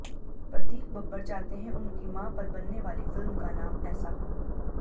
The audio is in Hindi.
प्रतीक बब्बर चाहते हैं उनकी मां पर बनने वाली फिल्म का नाम ऐसा हो